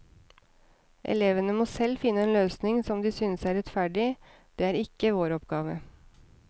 Elevene må selv finne en løsning som de synes er rettferdig, det er ikke vår oppgave.